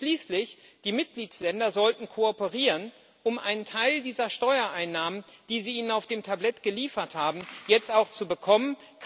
Und schließlich sollten die Mitgliedsländer kooperieren, um einen Teil dieser Steuereinnahmen, die Sie ihnen auf dem Tablett geliefert haben, jetzt auch zu bekommen.